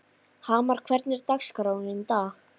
Hamar, hvernig er dagskráin í dag?